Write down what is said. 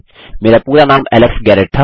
मेरा पूरा नाम एलेक्स गैरेट था